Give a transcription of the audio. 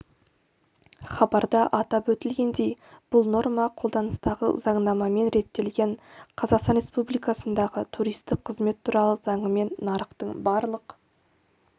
хабарда атап өтілгендей бұл норма қолданыстағы заңнамамен реттелген қазақстан республикасындағы туристік қызмет туралы заңымен нарықтың барлық